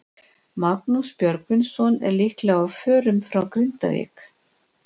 Magnús Björgvinsson er líklega á förum frá Grindavík.